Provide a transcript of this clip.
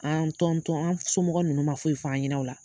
An an somɔgɔ ninnu ma foyi f'an ɲɛna o la.